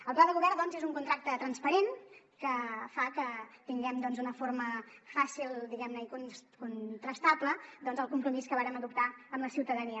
el pla de govern és un contracte transparent que fa que tinguem d’una forma fàcil diguem ne i contrastable doncs el compromís que vàrem adoptar amb la ciutadania